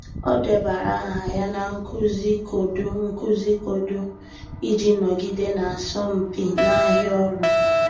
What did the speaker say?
Ọ́ débara áhà ya na nkuzi koodu nkuzi koodu iji nọgide n’ásọ́mpi n’áhịa ọ́rụ́.